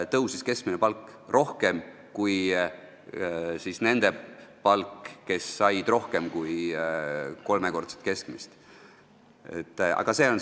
Keskmine palk tõusis rohkem kui nende palk, kes said rohkem kui kolmekordset keskmist palka.